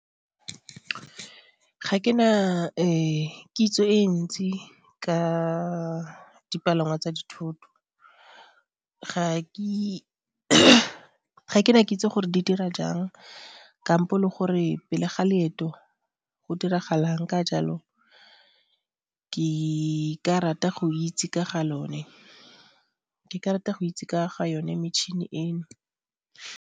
Ga ke na kitso e ntsi ka dipalangwa tsa dithoto, ga ke na kitso gore di dira jang kampo le gore pele ga leeto go diragala eng, ka jalo ke ka rata go itse ka ga lone, ke ka rata go itse ka ga yone metšhini eno.